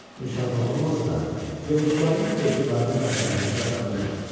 Müsəlman olmasa da, yolçuların etibarını və hörmətini qazanmışdı.